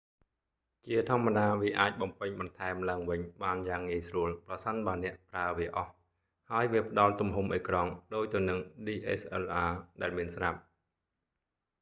ជាធម្មតាវាអាចបំពេញបន្ថែមឡើងវិញបានយ៉ាងងាយស្រួល ប្រសិនបើអ្នកប្រើវាអស់ ហើយវាផ្តល់ទំហំអេក្រង់ resolution ដូចទៅនឹង dslr ដែលមានស្រាប់